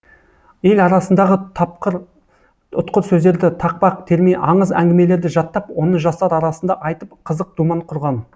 ел арасындағы тапқыр ұтқыр сөздерді тақпақ терме аңыз әңгімелерді жаттап оны жастар арасында айтып қызық думан құрған